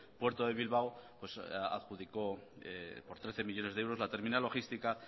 puerto de bilbao adjudicó por trece millónes de euros la terminal logística